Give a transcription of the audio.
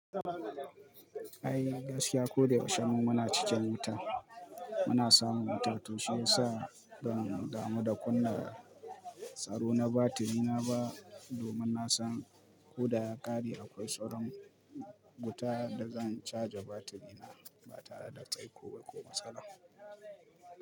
Ai gaskiya ko da yaushe mu muna cikin wuta, muna samun wuta, to shi yasa ban damu da kunna tsaro na batiri na ba, domin na san ko da ya kare akwai sauran wuta da zan caja batiri na ba tare da tsaiko ba ko matsala.